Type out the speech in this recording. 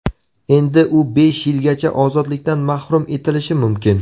Endi u besh yilgacha ozodlikdan mahrum etilishi mumkin.